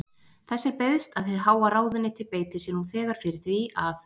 Þess er beiðst, að hið háa ráðuneyti beiti sér nú þegar fyrir því, að